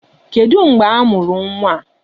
Kedụ mgbe a mụrụ nwa a?